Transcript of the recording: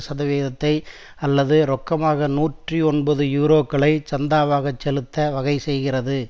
சதவீதத்தை அல்லது ரொக்கமாக நூற்றி ஒன்பது யூரோக்களை சந்தாவாக செலுத்த வகை செய்கிறது